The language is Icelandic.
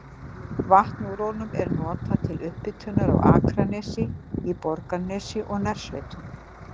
Vatn úr honum er nú notað til upphitunar á Akranesi, í Borgarnesi og nærsveitum.